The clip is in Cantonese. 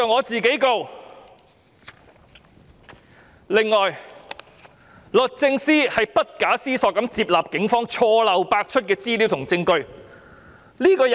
此外，律政司不假思索地接納警方錯漏百出的資料和證據。